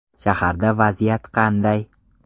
Shaharda vaziyat qanday?